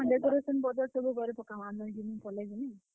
ହଁ decoration ସବୁ କରି ପକାମା ନ, ହେଦିନ ମୁଇଁ ପଲେଇ ଯିମି।